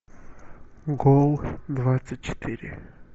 гол двадцать четыре